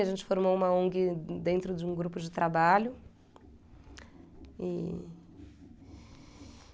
A gente formou uma Ong dentro de um grupo de trabalho.